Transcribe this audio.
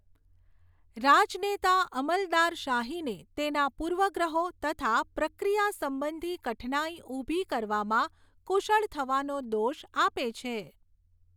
રાજનેતા અમલદારશાહીને તેના પૂર્વગ્રહો તથા પ્રક્રિયા સંબંધી કઠિનાઈ ઊભી કરવામાં કુશળ થવાનો દોષ આપે છે.